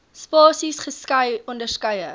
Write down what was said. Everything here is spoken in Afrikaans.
spasies skei onderskeie